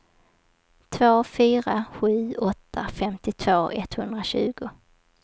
två fyra sju åtta femtiotvå etthundratjugo